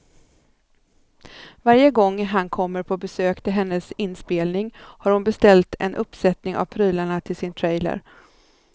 Varje gång han kommer på besök till hennes inspelning har hon beställt en uppsättning av prylarna till sin trailer.